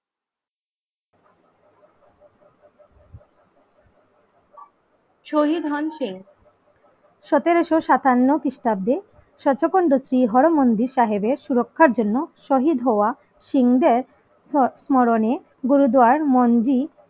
শহীদ ধন সিং সতেরোশো সাতান্ন খ্রিস্টাব্দে হরমন্দির সাহেবের সুরক্ষার জন্য শহীদ হওয়া সিং দের সৎ মরণে গুরুদুয়ার মন্দির